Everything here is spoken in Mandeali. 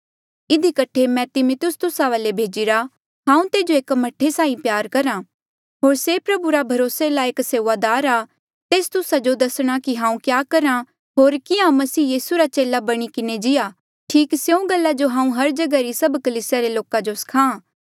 इधी कठे मैं तिमिथियुस तुस्सा वाले भेजिरा हांऊँ तेजो एक मह्ठे साहीं प्यार करहा होर से प्रभु रा भरोसे लायक सेऊआदार आ तेस तुस्सा जो दसणा कि हांऊँ क्या करहा होर कियां मसीह रा चेला बणी किन्हें जियां ठीक स्यों गल्ला जो हांऊँ हर जगहा री सभ कलीसिया रे लोका जो सखा